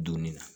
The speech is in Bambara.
Donni na